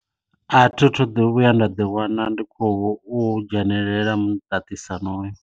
A thithu ḓi vhuya nda ḓi wana ndi khou dzhenelela muṱaṱisano hoyo.